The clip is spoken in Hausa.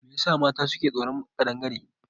Me yasa mata suke tsoron kadangare?